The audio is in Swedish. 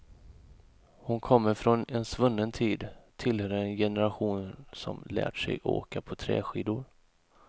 Hon kommer från en svunnen tid, tillhör en generation som lärt sig åka på träskidor.